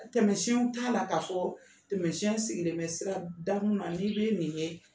Tɛmɛsiɛnw t'a la ka fɔ tɛmɛsiɛn sigilen bɛ sira da munna ni bɛ nin kɛ